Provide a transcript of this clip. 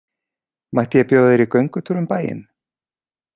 Mætti ég bjóða þér í göngutúr um bæinn?